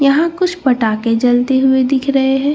यहां कुछ पटाखे जलते हुए दिख रहे हैं।